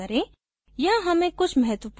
reports पर click करें